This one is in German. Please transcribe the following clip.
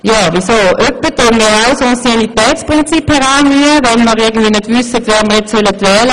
Hin und wieder bemühen auch wir das Anciennitätsprinzip, wenn wir nicht wissen, wen wir wählen sollen.